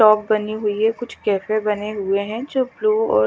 shop बनी हुई है कुछ केफे बने हुए है जो ब्लू और--